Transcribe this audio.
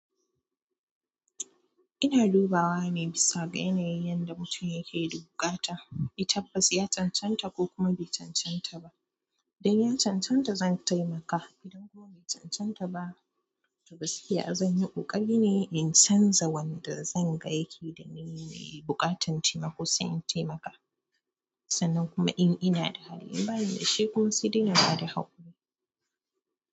Ina dubawa nai bisa ga yanayin yadda mutum yake da buƙata, eh tabbas ya cancanta ko kuma bai cancanta ba. Idan ya cancanta zan taimaka. Idan kuwa bai cancanta ba, to gaskiya zan yi ƙoƙari ne in canza wanda zan ga yake da niyya mai buƙatar taimako sai in taimaka. Sannan kuma in ina da hali, in bani da shi kuma sai dai inba da haƙuri.